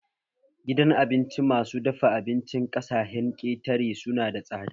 Gidan abinci masu dafa abincin ƙasaahen ketare suna da tsada